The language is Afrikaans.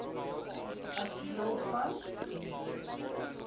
as deel van